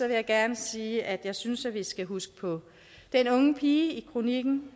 jeg gerne sige at jeg synes at vi skal huske på den unge pige i kronikken